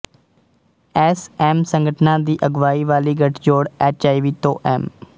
S M ਸੰਗਠਨਾਂ ਦੀ ਅਗਵਾਈ ਵਾਲੀ ਗੱਠਜੋੜ ਐਚਆਈਵੀ ਤੋਂ ਐਮ